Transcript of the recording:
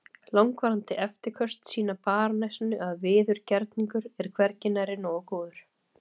Langvarandi eftirköst sýna barónessunni að viðurgerningur er hvergi nærri nógu góður.